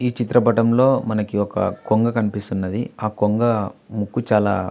ఈ చిత్రపటంలో మనకి ఒక కొంగ కనిపిస్తున్నది ఆ కొంగ ముక్కు చాలా --